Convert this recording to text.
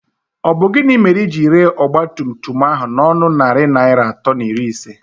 Ọ bụ gịnị mere i jiri ree ọgbatumtum ahụ n'ọnụ narị naịra atọ na iri ise?